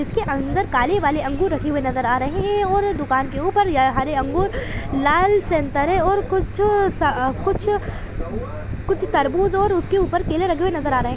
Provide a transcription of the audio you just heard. इसके अंदर काले वाले अंगूर रखे हुए नज़र आ रहे है और दुकान के ऊपर यह हरे अंगूर लाल संतरे और कुछ स कुछ कुछ तरबूज और उसके ऊपर केले रखे हुए नज़र आ रहे है।